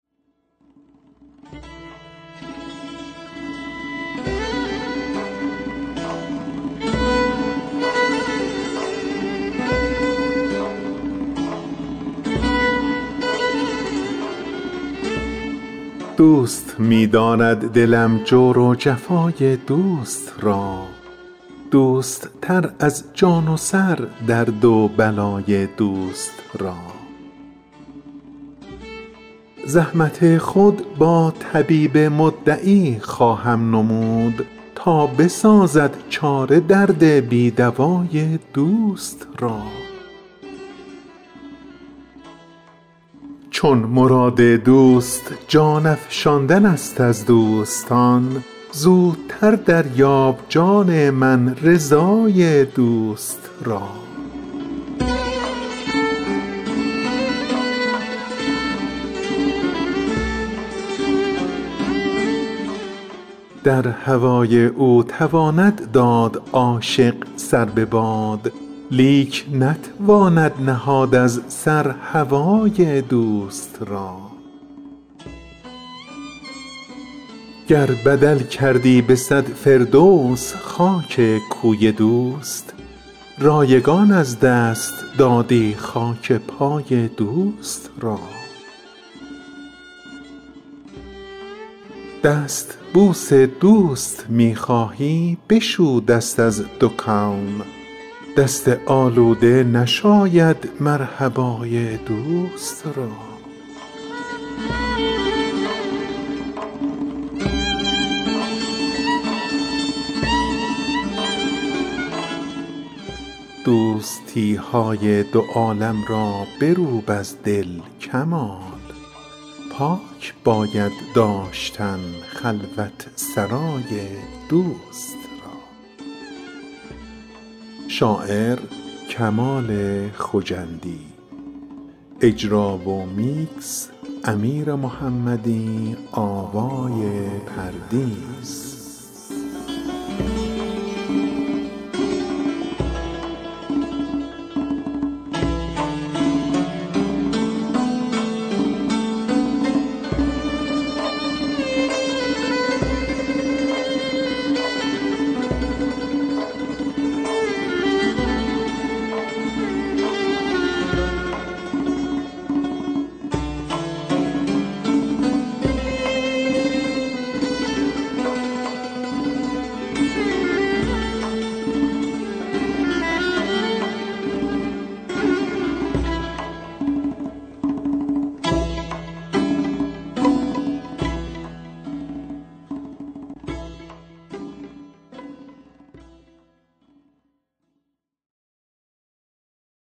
دوست می دارد دلم جور و جفای دوست را دوست تر از جان و سر درد و بلای دوست را زحمت خود با طبیب مدعی خواهم نمود تا بسازد چاره درد بی دوای دوست را چون مراد دوست جان افشاندن است از دوستان زودتر دریاب جان من رضای دوست را در هوای او تواند داد عاشق سر به باد لیک نتواند نهاد از سر هوای دوست را گر بدل کردی بصد فردوس خاک کوی دوست رایگان از دست دادی خاک پای دوست را دستبوس دوست می خواهی بشو دست از دو کون دست آلوده نشاید مرحبای دوست را دوستی های دو عالم را بروب از دل کمال پاک باید داشتن خلوت سرای دوست را